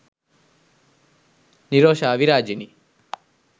nirosha virajini